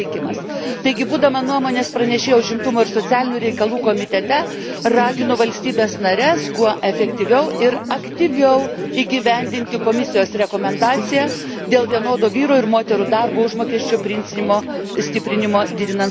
Taigi, būdama nuomonės pranešėja Užimtumo ir socialinių reikalų komitete, raginu valstybes nares kuo efektyviau ir aktyviau įgyvendinti Komisijos rekomendaciją dėl vienodo vyrų ir moterų darbo užmokesčio principo stiprinimo didinant skaidrumą.